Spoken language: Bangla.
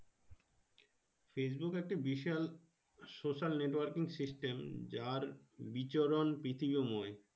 Facebook একটা বিশাল Social networking system য়ার বিচরণ